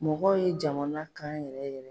Mɔgɔw ye jamanakan yɛrɛ yɛrɛ